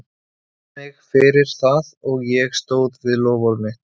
Hann bað mig fyrir það og ég stóð við loforð mitt.